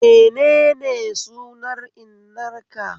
Menene sunan innar ka?